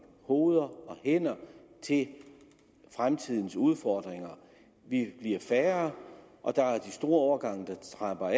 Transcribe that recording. hoveder og hænder til fremtidens udfordringer vi bliver færre og der er de store årgange som trapper